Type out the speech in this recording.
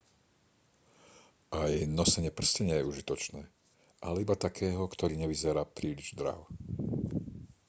aj nosenie prsteňa je užitočné ale iba takého ktorý nevyzerá príliš draho